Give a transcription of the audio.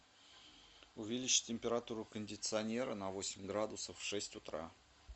увеличить температуру кондиционера на восемь градусов в шесть утра